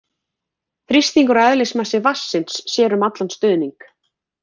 Þrýstingur og eðlismassi vatnsins sér um allan stuðning.